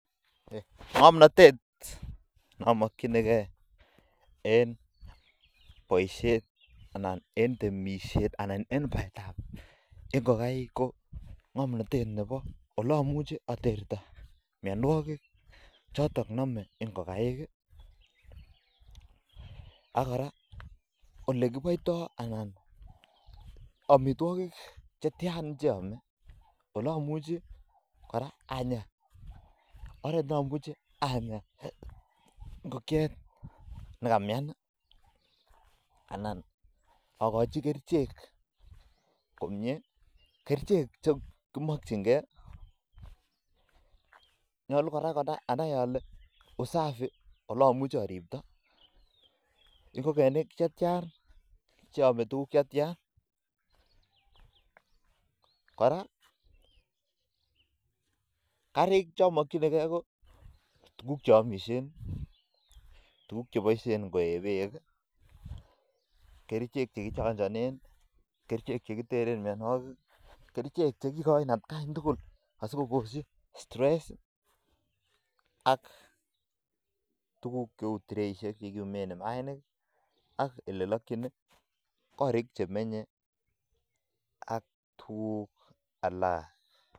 Ngomnatet namakyinikei ko ribet ab ngokaik anan ko olekiribtoi ako oret nekimuchu kinya ngokiet nekamyana ako kora tililindo ak ngokenik chetya cheamei ki netya eng amitwokik, korik kwaak ak trainik chekindoi mainik